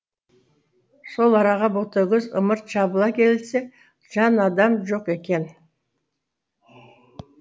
сол араға ботагөз ымырт жабыла келсе жан адам жоқ екен